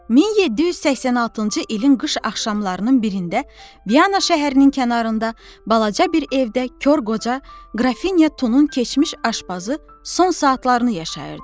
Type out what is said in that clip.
1786-cı ilin qış axşamlarının birində Viyana şəhərinin kənarında balaca bir evdə kor qoca Qrafinya Tunun keçmiş aşbazı son saatlarını yaşayırdı.